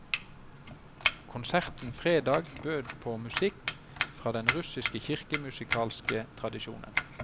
Konserten fredag bød på musikk fra den russiske kirkemusikalske tradisjonen.